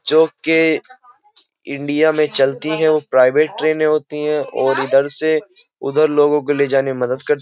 जो के इंडिया में चलती है वो प्राइवेट ट्रेनें होती हैं और इधर से उधर लोगों को ले जाने में मदद करती --